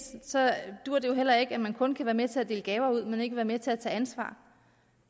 duer det jo heller ikke at man kun kan være med til at dele gaver ud men ikke være med til at tage ansvar